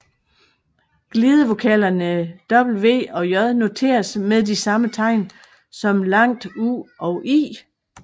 Glidevokalerne w og j noteres med de samme tegn som langt u og i